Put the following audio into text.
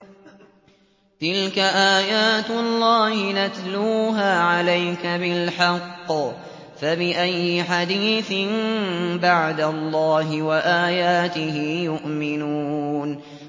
تِلْكَ آيَاتُ اللَّهِ نَتْلُوهَا عَلَيْكَ بِالْحَقِّ ۖ فَبِأَيِّ حَدِيثٍ بَعْدَ اللَّهِ وَآيَاتِهِ يُؤْمِنُونَ